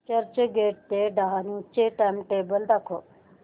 चर्चगेट ते डहाणू चे टाइमटेबल दाखव